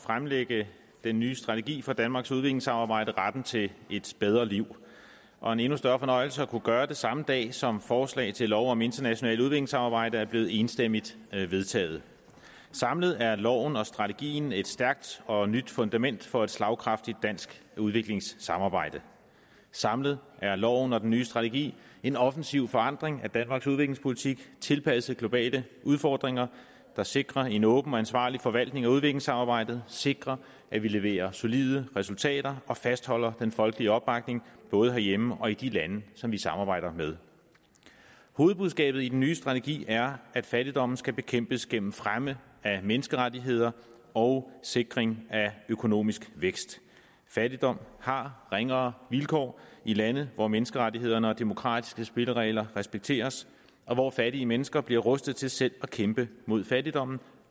fremlægge den nye strategi for danmarks udviklingssamarbejde retten til et bedre liv og en endnu større fornøjelse at kunne gøre det samme dag som forslag til lov om internationalt udviklingssamarbejde er blevet enstemmigt vedtaget samlet er loven og strategien et stærkt og nyt fundament for et slagkraftigt dansk udviklingssamarbejde samlet er loven og den nye strategi en offensiv forandring af danmarks udviklingspolitik tilpasset globale udfordringer der sikrer en åben og ansvarlig forvaltning af udviklingssamarbejdet sikrer at vi leverer solide resultater og fastholder den folkelige opbakning både herhjemme og i de lande som vi samarbejder med hovedbudskabet i den nye strategi er at fattigdommen skal bekæmpes gennem fremme af menneskerettigheder og sikring af økonomisk vækst fattigdom har ringere vilkår i lande hvor menneskerettighederne og de demokratiske spilleregler respekteres og hvor fattige mennesker bliver rustet til selv at kæmpe mod fattigdommen